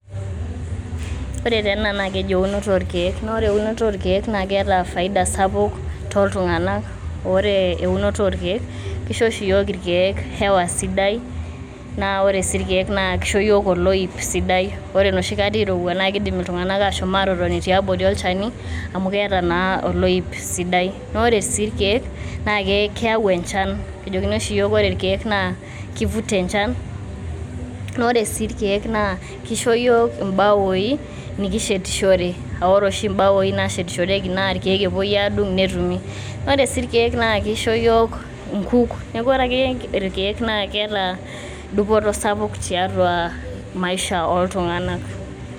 Ore taa ena naa keji eunot oorkiek naa ore eunoto oorkiek naa keeta faida sapuk toltunganak .ore eunore oorkiek kisho oshi yiook irkieek hewa sidai. naa ore irkiek kisho yiok oloip sidai .ore enoshi kata irowua naa kindim iltunganak ashom atotoni tiabori olchani amu keeta naa oloip sidai . naa ore sii irkiek naa keyau enchan ,kejokini oshi iyiook ore irkieek naa kivuta enchan. naa ore sii irkiiek naa kisho yiok imbaoi nikishetishore ore oshi mbaoi nashetishoreki naa irkieek epuoi adung netumi .ore sii irkieek naa kisho yiook ikunk .niaku ore akeyie irkieek naa dupoto sapuk tiatua maisha ooltunganak.